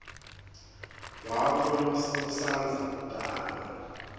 wakho losandza kutalwa